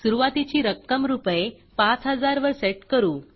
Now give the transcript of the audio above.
सुरूवातीची रक्कम रूपये 5000 वर सेट करू